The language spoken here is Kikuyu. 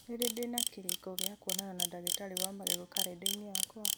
nĩ rĩ ndĩna kĩrĩko gĩa kwonana na ndagĩtarĩ wa magego karenda-inĩ yakwa